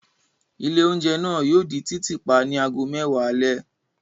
Ilé-oúnjẹ náà yóò di títì pa ní ago mẹ́wàá alẹ́.